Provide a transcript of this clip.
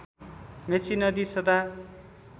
मेची नदी सदा